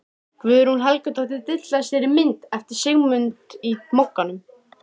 Guðrún Helgadóttir dillar sér á mynd eftir Sigmund í Mogganum.